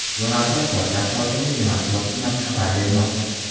Bu haqda poytaxt hokimligi matbuot xizmati xabar bermoqda.